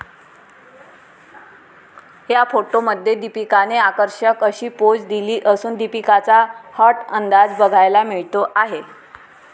या फोटोमध्ये दीपिकाने आकर्षक अशी पोज दिली असून दिपीकाचा हॉट अंदाज बघायला मिळतो आहे.